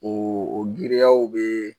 O o giriyaw bɛ